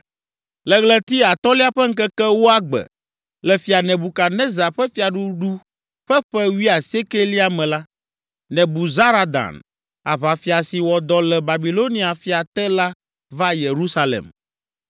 Le ɣleti atɔ̃lia ƒe ŋkeke ewoa gbe, le fia Nebukadnezar ƒe fiaɖuɖu ƒe ƒe wuiasiekɛlia me la, Nebuzaradan, aʋafia si wɔ dɔ le Babilonia fia te la va Yerusalem.